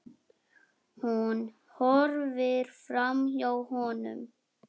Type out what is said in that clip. Hún horfir framhjá honum.